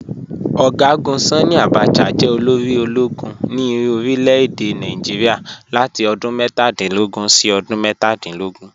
General Sanni Abacha jẹ́ olórí ọlọ́gùn ní orílẹ̀-èdè Nàìjíríà látì odún mẹ́tàdìnlógún sí odún mẹ́tàdìnlógún